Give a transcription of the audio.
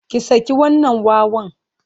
Ki saki wannan wawan!